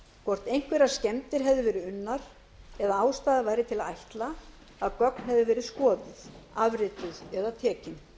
hvort einhverjar skemmdir hefðu verið unnar eða ástæða væri til að ætla að gögn hefðu verið skoðuð afrituð eða tekin